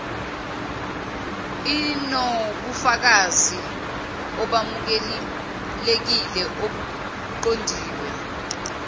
inobufakazi obamukelekile obuqondiswe